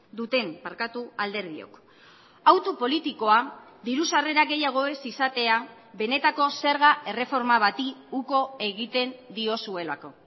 duten barkatu alderdiok hautu politikoa diru sarrera gehiago ez izatea benetako zerga erreforma bati uko egiten diozuelako